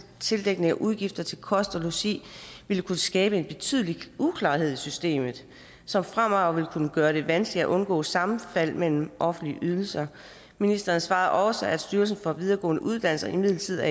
til dækning af udgifter til kost og logi ville kunne skabe en betydelig uklarhed i systemet som fremover vil kunne gøre det vanskeligt at undgå sammenfald mellem offentlige ydelser ministeren svarede også at styrelsen for videregående uddannelser imidlertid